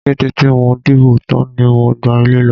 Kété tí mo dìbò tán ni mo gba ilé lọ.